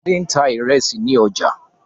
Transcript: Fadé ń ta ìrẹsì ní ọjà.